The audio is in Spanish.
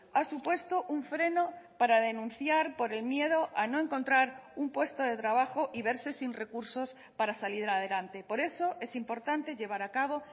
ha supuesto un freno para denunciar por el miedo a no encontrar un puesto de trabajo y verse sin recursos para salir adelante por eso es importante llevar a cabo